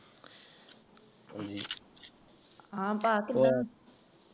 ਹਾਂ ਪਾ ਕਿੱਦਾਂ?